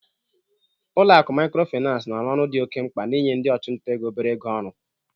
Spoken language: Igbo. Ụlọ akụ Maịkrofịnansị na-arụ ọrụ dị oke mkpa n'inye ndị ọchụnta ego obere ego ọrụ.